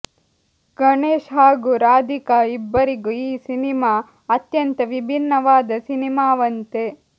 ಗಣೇಶ್ ಹಾಗೂ ರಾಧಿಕಾ ಇಬ್ಬರಿಗೂ ಈ ಸಿನಿಮಾ ಅತ್ಯಂತ ವಿಭಿನ್ನವಾದ ಸಿನಿಮಾವಂತೆ